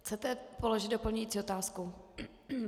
Chcete položit doplňující otázku?